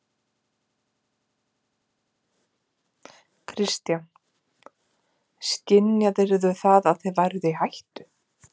Kristján: Skynjaðirðu það að þið væruð í hættu?